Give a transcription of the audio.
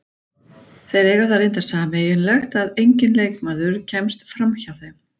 Þeir eiga það reyndar sameiginlegt að enginn leikmaður kemst framhjá þeim.